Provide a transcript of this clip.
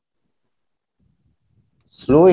slow